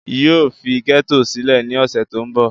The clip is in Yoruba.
yóò fi gẹ́tò sílẹ̀ ní ọ̀sẹ̀ tó ń bọ̀